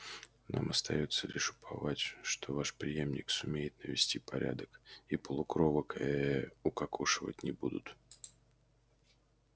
нам остаётся лишь уповать что ваш преемник сумеет навести порядок и полукровок ээ укокошивать не будут